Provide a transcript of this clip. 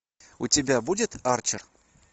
у тебя будет арчер